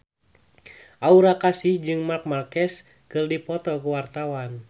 Aura Kasih jeung Marc Marquez keur dipoto ku wartawan